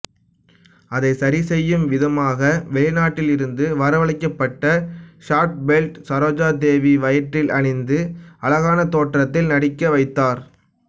அதை சரி செய்யும் விதமாக வெளிநாட்டில் இருந்து வரவழைக்கப்பட்ட ஷாட்பெல்ட் சரோஜாதேவி வயிற்றில் அணிந்து அழகான தோற்றத்தில் நடிக்க வைத்தார்